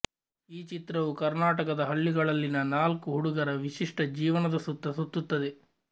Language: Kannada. ಈ ಚಿತ್ರವು ಕರ್ನಾಟಕದ ಹಳ್ಳಿಗಳಲ್ಲಿನ ನಾಲ್ಕು ಹುಡುಗರ ವಿಶಿಷ್ಟ ಜೀವನದ ಸುತ್ತ ಸುತ್ತುತ್ತದೆ